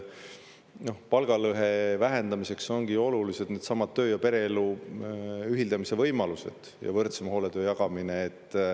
Palgalõhe vähendamiseks ongi ju olulised needsamad töö ja pereelu ühildamise võimalused ja võrdsema hooletöö jagamine.